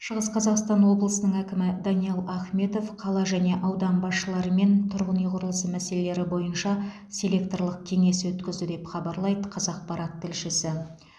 шығыс қазақстан облысының әкімі даниал ахметов қала және аудан басшыларымен тұрғын үй құрылысы мәселелері бойынша селекторлық кеңес өткізді деп хабарлайды қазақпарат тілшісі